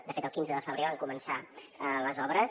de fet el quinze de febrer van començar les obres